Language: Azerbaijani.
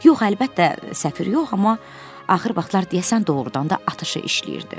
Yox əlbəttə, səfir yox, amma axır vaxtlar deyəsən doğrudan da atışı işləyirdi.